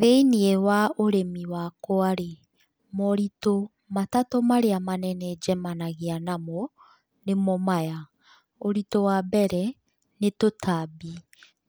Thĩinĩ wa ũrĩmi wakwa rĩ, moritũ matatũ marĩa manene njemanagia namo, nĩmo maya, ũritũ wambere nĩ tũtambi.